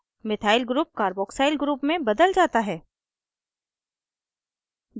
methyl group carboxyl group में बदला जाता है